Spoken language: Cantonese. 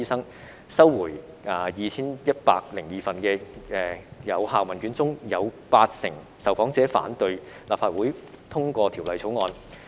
在收回的 2,102 份有效問卷中，有八成受訪者反對立法會通過《條例草案》。